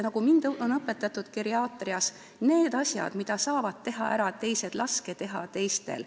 Nagu mind geriaatrina on õpetatud: need asjad, mida saavad teha ära teised, laske teha teistel.